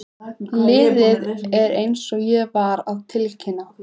Liðið er eins og ég var að tilkynna.